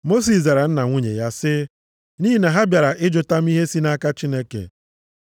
Mosis zara nna nwunye ya sị, “Nʼihi na ha bịara ịjụta m ihe si nʼaka Chineke.